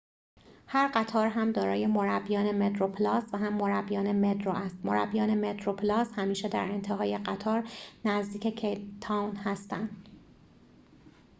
هر قطار هم دارای مربیان متروپلاس و هم مربیان مترو است مربیان مترو پلاس همیشه در انتهای قطار نزدیک کیپ تاون هستند